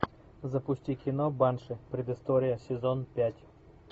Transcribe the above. запусти кино банши предыстория сезон пять